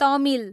Tamil